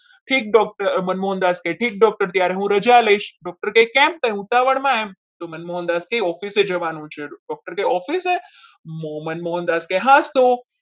ઠીક doctor મનમોહનદાસ કહે ઠીક doctor ત્યારે હું રજા લઈશ doctor કહે કેમ કંઈ ઉતાવળમાં તો મનમોહનદાસ કાંઈ office એ જવાનું છે doctor કહે office એ મનમોહનદાસ તો